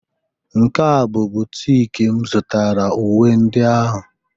nke a bụ boutique m zụtara uwe ndị ahụ